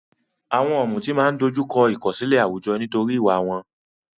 Àwọn ọ̀mùtí máa ń dojú kọ ìkọ̀sílẹ̀ àwùjọ nítorí ìwà wọn.